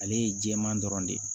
Ale ye jɛman dɔrɔn de ye